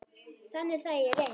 Þannig er það í reynd.